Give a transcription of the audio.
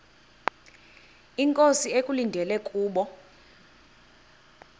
inkosi ekulindele kubo